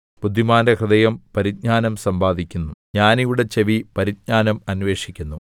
ബുദ്ധിമാന്റെ ഹൃദയം പരിജ്ഞാനം സമ്പാദിക്കുന്നു ജ്ഞാനികളുടെ ചെവി പരിജ്ഞാനം അന്വേഷിക്കുന്നു